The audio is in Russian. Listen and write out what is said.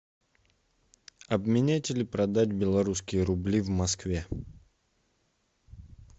обменять или продать белорусские рубли в москве